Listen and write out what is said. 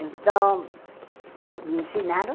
Então, me ensinaram.